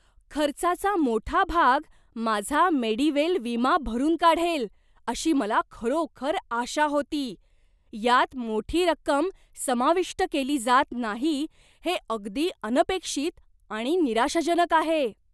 खर्चाचा मोठा भाग माझा मेडीवेल विमा भरून काढेल अशी मला खरोखर आशा होती. यात मोठी रक्कम समाविष्ट केली जात नाही हे अगदी अनपेक्षित आणि निराशाजनक आहे.